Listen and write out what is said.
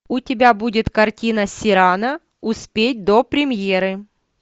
у тебя будет картина сирано успеть до премьеры